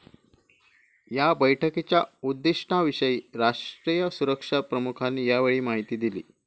या बैठकीच्या उद्दिष्टाविषयी राष्ट्रीय सुरक्षा प्रमुखांनी यावेळी माहिती दिली